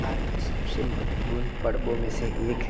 are सबसे महत्वपूर्ण प्रर्बो में से एक --